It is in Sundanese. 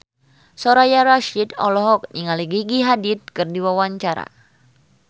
Soraya Rasyid olohok ningali Gigi Hadid keur diwawancara